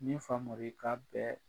Ni Famori ka bɛ